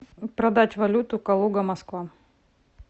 продать валюту калуга москва